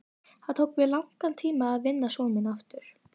Það tók mig langan tíma að vinna son minn aftur.